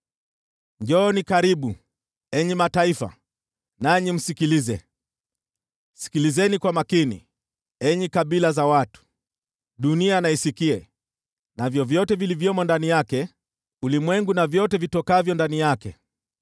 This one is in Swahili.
Njooni karibu, enyi mataifa, nanyi msikilize; sikilizeni kwa makini, enyi kabila za watu! Dunia na isikie, navyo vyote vilivyo ndani yake, ulimwengu na vyote vitokavyo ndani yake!